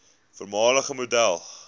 voormalige model